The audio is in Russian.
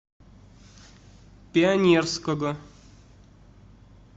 пионерского